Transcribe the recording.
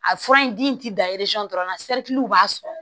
A fura in di da dɔrɔn b'a sɔrɔ